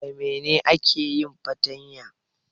Da menena ake yin fartanya?